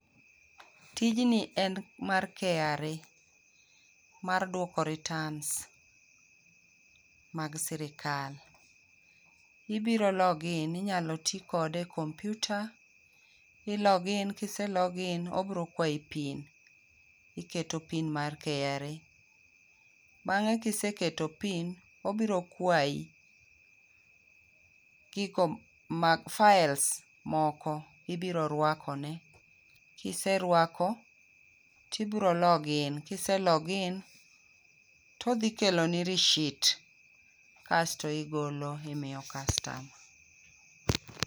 Tijni en mar KRA, mar duoko returns mag Sirkal. Ibiro log in inyalo tii kode e computer i log in, kise log in obiro kwayi pin, iketo pin mar KRA. Bang'e kiseketo pin, obiro kwayi gigo mag files moko, ibiro rwako ne, kiserwako tibiro log in, kise log in todhi kelo ni rishit, kasto igolo imiyo customer.